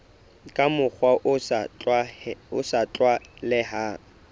ka mokgwa o sa tlwaelehang